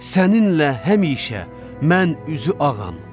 Səninlə həmişə mən üzü ağam.